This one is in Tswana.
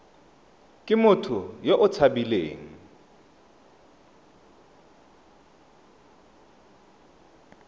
ke motho yo o tshabileng